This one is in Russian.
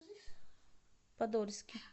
подольске